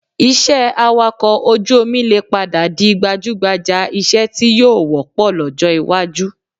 Iṣẹ́ awakọ̀ ojú omi lè padà di gbajúgbà iṣẹ́ tí yóò wọ́pọ̀ lọ́jọ́ iwájú